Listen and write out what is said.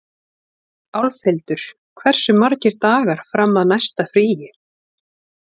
Álfhildur, hversu margir dagar fram að næsta fríi?